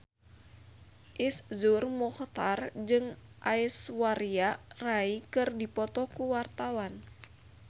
Iszur Muchtar jeung Aishwarya Rai keur dipoto ku wartawan